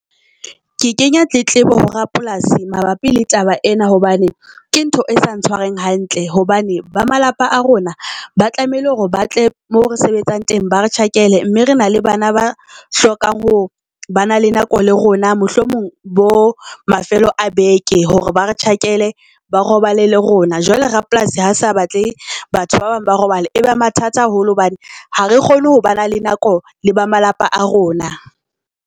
Ke kenya tletlebo ho Rapolasi mabapi le taba ena, hobane ke ntho e sa ntshwareng hantle. Hobane ba malapa a rona ba tlamehile hore ba tle mo re sebetsang teng ba re tjhakele. Mme re na le bana ba hlokang ho ba na le nako le rona mohlomong bo mafelo a beke hore ba re tjhakele ba robale le rona. Jwale Rapolasi ha sa batle batho ba bang ba robale e ba mathata haholo hobane ha re kgone ho ba na le nako le ba malapa a rona.